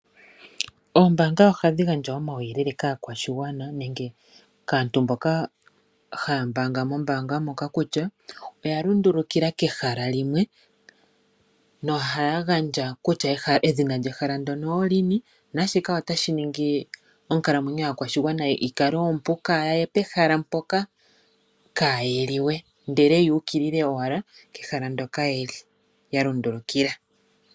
Oombaanga ohadhi gandja omauyelele kaakwashigwana nenge kaantu mboka haya mbaanga mombaanga moka kutya oya lundulukila kehala limwe nohaya gandja edhina lyehala ndyoka kutya olini naashika otashi ningi oonkalamwenyo dhaakwashigwana yi kale oompu kayaye pehala mpoka kaayeli we ndele yaye owala kehala hoka yalundulukila.